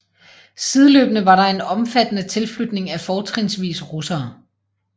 Sideløbende var der en omfattende tilflytning af fortrinsvis russere